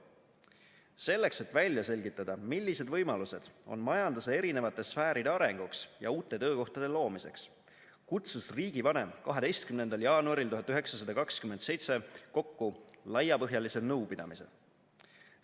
Selleks, et välja selgitada, millised võimalused on majanduse erinevate sfääride arenguks ja uute töökohtade loomiseks, kutsus riigivanem 12. jaanuaril 1927 kokku laiapõhjalise nõupidamise.